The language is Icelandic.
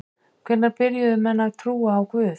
Hvenær byrjuðu menn að trúa á guð?